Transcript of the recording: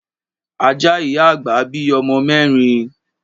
Ajá ìyá àgbà bí ọmọ mẹ́rin.